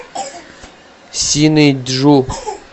синыйджу